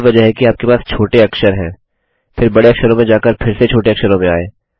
यही वजह है कि आपके पास छोटे अक्षरलोअर केस है फिर बड़े अक्षरों में जाकर फिर से छोटे अक्षरों में आएँ